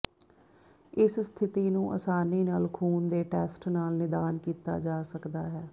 ਇਸ ਸਥਿਤੀ ਨੂੰ ਆਸਾਨੀ ਨਾਲ ਖੂਨ ਦੇ ਟੈਸਟ ਨਾਲ ਨਿਦਾਨ ਕੀਤਾ ਜਾ ਸਕਦਾ ਹੈ